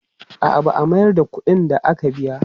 A'a, ba a mayar da kuɗin da aka biya.